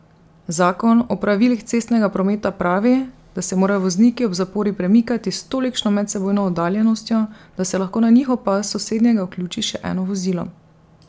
Zakon o pravilih cestnega prometa pravi, da se morajo vozniki ob zapori premikati s tolikšno medsebojno oddaljenostjo, da se lahko na njihov pas s sosednjega vključi še eno vozilo.